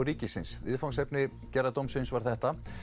ríkisins viðfangsefni gerðardómsins var þetta